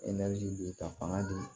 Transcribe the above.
bi ka fanga di